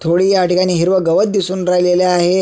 थोडी ह्या ठिकाणी हिरव गवत दिसून राहिलेल आहे.